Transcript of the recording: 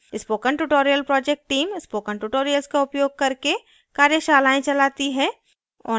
spoken tutorial project team spoken tutorial का उपयोग करके कार्यशालाएँ चलाती है